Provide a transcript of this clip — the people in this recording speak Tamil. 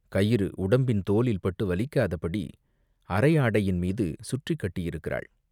கயிறு உடம்பின் தோலில் பட்டு வலிக்காதபடி அரை ஆடையின் மீது சுற்றிக் கட்டியிருக்கிறாள்.